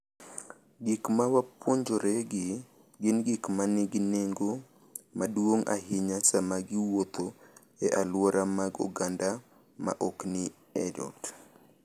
Gik ma wapuonjoregi gin gik ma nigi nengo maduong’ ahinya sama giwuotho ​​e alwora mag oganda ma ok ni e ot.